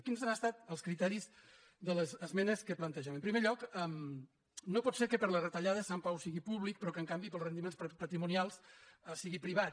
quins han estat els criteris de les esmenes que plante·gem en primer lloc no pot ser que per les retallades sant pau sigui públic però que en canvi per als ren·diments patrimonials sigui privat